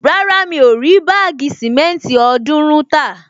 Rárá, mi ò rí báàgì sìmẹ́ntì ọ̀ọ́dúrún tà